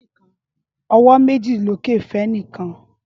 Ọwọ́ méjì lókè fẹ́nìkan.